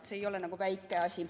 See ei ole väike asi.